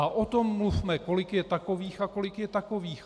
A o tom mluvme, kolik je takových a kolik je takových.